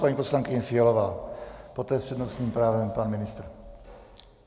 Paní poslankyně Fialová, poté s přednostním právem pan ministr.